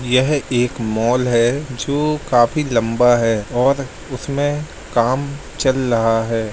यह एक मॉल है जो काफी लंबा है और उस में काम चल रहा है।